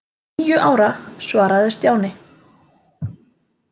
Níu ára svaraði Stjáni.